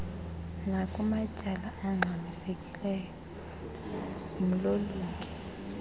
nakumatyala angxamisekileyo ngumlolongi